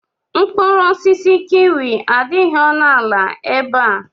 Mkpụrụ osisi kiwi adịghị ọnụ ala ebe a.